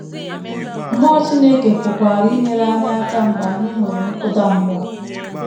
Mmụọ Chineke pụkwara inyere anyị aka mgbe anyị nwere nkụda mmụọ.